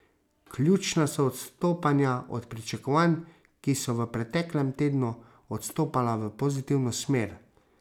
Ključna so odstopanja od pričakovanj, ki so v preteklem tednu odstopala v pozitivno smer.